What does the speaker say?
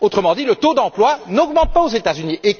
Autrement dit, le taux d'emploi n'augmente pas aux États Unis.